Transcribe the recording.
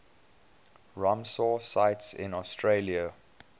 ramsar sites in australia